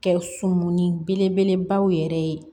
Kɛ sun ni belebelebaw yɛrɛ ye